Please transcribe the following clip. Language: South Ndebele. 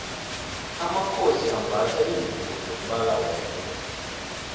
amakhosi ambatha lingubo zombala wengwe